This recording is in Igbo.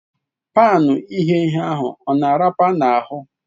Pan ighe ihe ahụ ọ na arapara n'ahụ?